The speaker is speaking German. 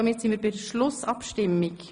Damit kommen wir zur Schlussabstimmung.